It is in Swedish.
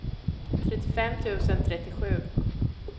trettiofem tusen trettiosju